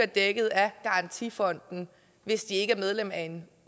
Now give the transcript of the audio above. dækket af garantifonden hvis de ikke er medlem af en